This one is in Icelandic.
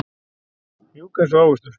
Mjúk einsog ávöxtur.